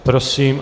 Prosím.